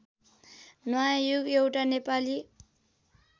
नयाँयुग एउटा नेपाली